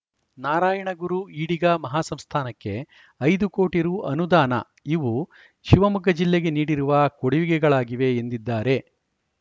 ನಾರಾಯಣಗುರು ಈಡಿಗ ಮಹಾಸಂಸ್ಥಾನಕ್ಕೆ ಐದು ಕೋಟಿ ರು ಅನುದಾನ ಇವು ಶಿವಮೊಗ್ಗ ಜಿಲ್ಲೆಗೆ ನೀಡಿರುವ ಕೊಡುಗೆಗಳಾಗಿವೆ ಎಂದಿದ್ದಾರೆ